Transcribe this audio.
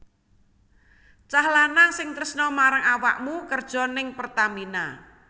Cah lanang sing tresno marang awakmu kerjo ning Pertamina